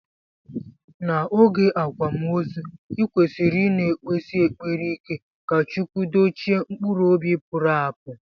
Na oge akwamozu ikwesiri ina ekpesi ekpere ike ka chukwu dochie mkpụrụ ọbi puru apu.